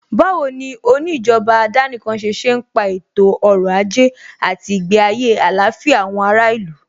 Báwo ni oní ìjọba àdánìkanṣe ṣe ń pa ètò ọrọ̀ ajé àti ìgbé ayé àlàáfíà àwọn ará ìlú?